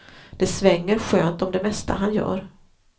Det svänger skönt om det mesta han gör.